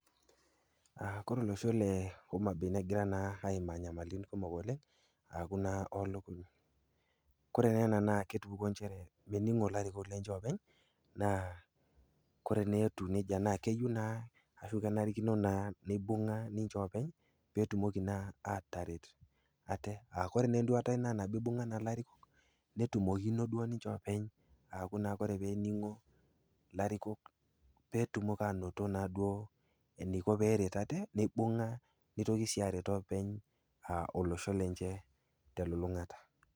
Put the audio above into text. Ore olosho le Homa Bay naa kegira naa aimaa inyamalin kumok oleng' aaku naa oolukuny. Kore naa ena naa ketupukuo nchere aaku mening'o naa ninche ilarikok lenye oopeny, naa kore naa etiu neija naa keyou naa anaa kenarikino naa neibung'a ninche oopeny, pee etumoki naa ataret ninche. Kore naa enduata aai naa pee eibung'a naa ilarikok netumoki naa duo ninye oopeny, aa kore naa pee eningo ilarikok pee etumoki naa duo ainoto eneiko pee eret aate, neibung'a neitoki sii aaret aate aa olosho lenye te elulung'ata.